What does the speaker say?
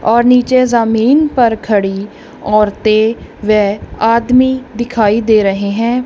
और नीचे जमीन पर खड़ी औरतें व आदमी दिखाई दे रहे हैं।